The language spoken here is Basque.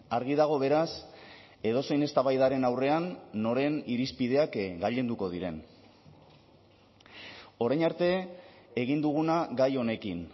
argi dago beraz edozein eztabaidaren aurrean noren irizpideak gailenduko diren orain arte egin duguna gai honekin